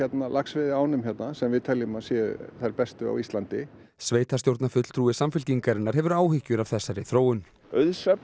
laxveiðiánum hérna sem við teljum að séu þær bestu á Íslandi sveitarstjórnarfulltrúi Samfylkingarinnar hefur áhyggjur af þessari þróun auðsöfnun